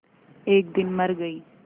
एक दिन मर गई